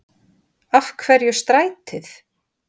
Af hverju strætið?